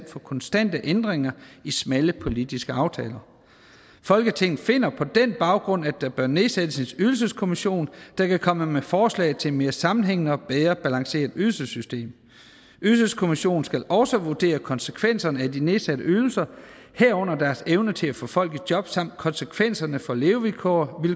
for konstante ændringer i smalle politiske aftaler folketinget finder på den baggrund at der bør nedsættes en ydelseskommission der kan komme med forslag til et mere sammenhængende og bedre balanceret ydelsessystem ydelseskommissionen skal også vurdere konsekvenserne af de nedsatte ydelser herunder deres evne til at få folk i job samt konsekvenserne for levevilkår